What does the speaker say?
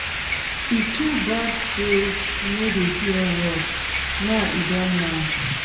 E too bad say e no dey hear word, now e don mad